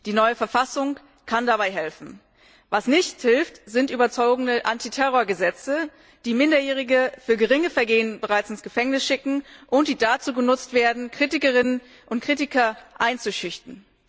Die neue Verfassung kann dabei helfen. Was nicht hilft, sind überzogene Antiterrorgesetze, die Minderjährige für geringe Vergehen bereits ins Gefängnis schicken und die dazu genutzt werden, Kritikerinnen und Kritiker einzuschüchtern.